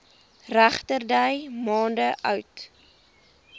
regterdy maande oud